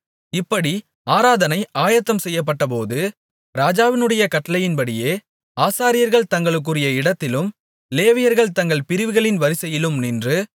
இப்படி ஆராதனை ஆயத்தம் செய்யப்பட்டபோது ராஜாவினுடைய கட்டளையின்படியே ஆசாரியர்கள் தங்களுக்குரிய இடத்திலும் லேவியர்கள் தங்கள் பிரிவுகளின் வரிசையிலும் நின்று